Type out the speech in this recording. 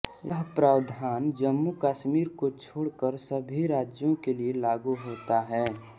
यह प्रावधान जम्मूकश्मीर को छोड़कर सभी राज्यों के लिए लागू होता है